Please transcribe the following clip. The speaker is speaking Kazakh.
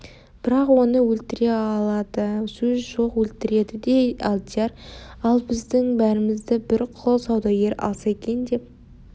бірақ оны өлтіре алады сөз жоқ өлтіреді де деді алдияр ал біздің бәрімізді бір құл саудагері алса екен деп